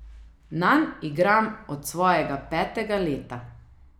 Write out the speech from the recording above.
Nanj igram od svojega petega leta.